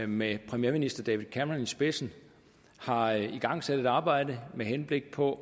med premierminister david cameron i spidsen har igangsat et arbejde med henblik på